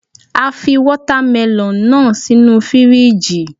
A fi Wọ́támẹlọ̀n náà sínu fíríjì.